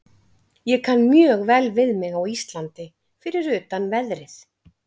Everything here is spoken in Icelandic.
Ég kann mjög vel við mig á Íslandi fyrir utan veðrið.